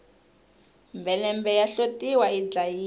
mhelembe ya hlotiwa yi dlayiwa